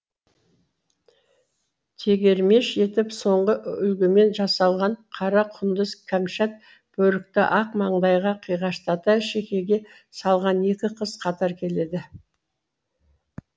тегермеш етіп соңғы үлгімен жасалған қара құндыз кәмшат бөрікті ақ маңдайға қиғаштата шекеге салған екі қыз қатар келеді